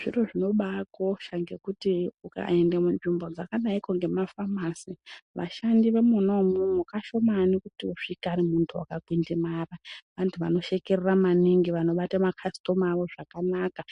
Zviro zvino baakosha ngekuti ukaenda munzvimbo dzaka dayiko nge mafamasi vashandi veimona imwomwo kashomani kuti usvike vari vantu vaka kwindimara vantu vano shekerera maningi vanobata makasitoma awo zvakanaka